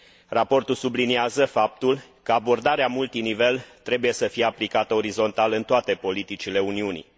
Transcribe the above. Raportul subliniază faptul că abordarea multinivel trebuie să fie aplicată orizontal în toate politicile Uniunii.